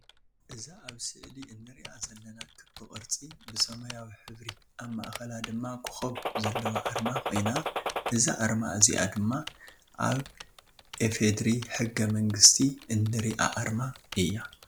እዛ ኣብ ስእሊ እንሪኣ ዘለና ክቢ ቅርፂ ብሰማያዊ ሕብሪ ኣብ ማእከላ ደማ ኮኮብ ዘለዋ ኣርማ ኮይና እዛ ኣርማ እዚኣ ድማ ኣብ ኢፌድሪ ሕገ መንግስቲ እንሪኣ ኣርማ እያ።